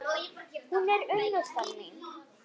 Hún er unnusta mín!